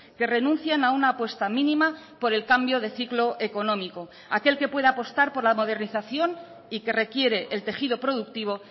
que renuncian a una apuesta mínima por el cambio de ciclo económico aquel que pueda apostar por la modernización y que requiere el tejido productivo